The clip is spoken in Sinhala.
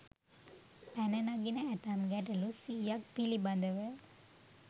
පැන නගින ඇතැම් ගැටලු 100 ක් පිළිබඳව